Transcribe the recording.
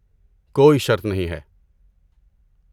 کوئی شرط نہیں ہے۔